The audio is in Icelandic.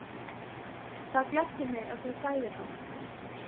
Það gleddi mig, ef þú þæðir hana